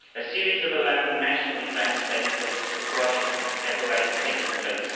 A series of 11 national events dedicated to the project have already taken place.